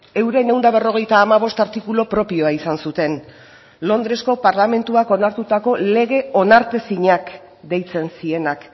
euren ehun eta berrogeita hamabost artikulu propioa izan zuten londresko parlamentuak onartutako lege onartezinak deitzen zienak